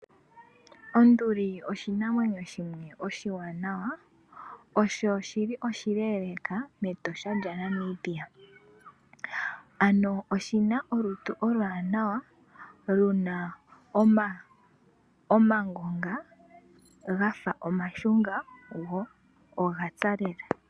Onduli oshinamwenyo shimwe oshiwanawa ,osho shili oshileeleka mEtosha lya Namibia. Ano shina olutu oluwaanawa, luna omangonga gafa omashunga go ogapya lela.